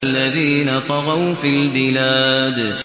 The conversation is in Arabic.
الَّذِينَ طَغَوْا فِي الْبِلَادِ